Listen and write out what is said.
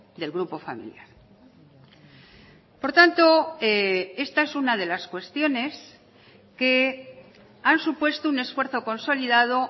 del grupo familiar por tanto esta es una de las cuestiones que han supuesto un esfuerzo consolidado